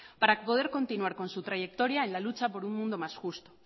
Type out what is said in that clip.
para poder continuar con su trayectoria en la lucha por un mundo más justo